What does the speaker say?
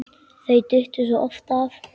Þau duttu svo oft af.